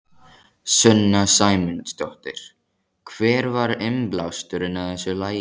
Sunna Sæmundsdóttir: Hver var innblásturinn að þessu lagi?